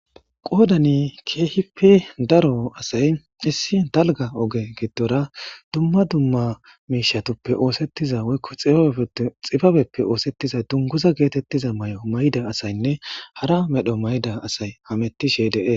qoodani keehipe daro asay issi dalga oge giddora dumma dumma miishatuppe oosettiza woykko xiyefe xibabeppe oosettiza dunguza geetettiza may7o mayda asaynne hara medho mayda asay hamettishe dee